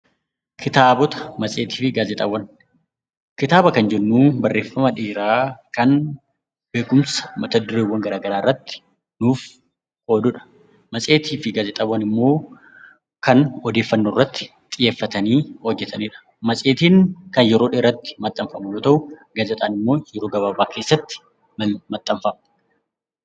Kitaabota, matseetii fi gaazexaawwan, kitaaba kan jennu barreffama dheeraa kan beekumsa mata-dureewwan garagaraa irratti nuuf qoodudha. Matseetii fi Gaazexaawwan immoo kan odeeffannoo irratti xiyyeeffatanii hojjettanidha. Matseetiin kan yeroo dheeraatti maxxanfamu yoo ta'u, gaazexaan immoo yeroo gabaabaa keessatti maxxanfama.